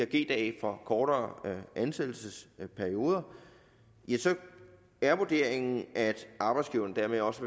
g dage for kortere ansættelsesperioder er vurderingen at arbejdsgiveren dermed også